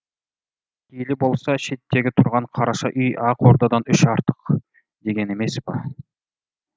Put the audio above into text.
пейілі болса шеттегі тұрған қараша үй ақ ордадан үш артық деген емес па